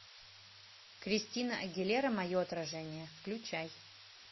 кристина агилера мое отражение включай